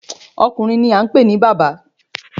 Ọkùnrin ni a ń pè ní bàbá.